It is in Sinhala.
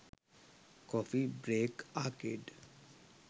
coffee break arcade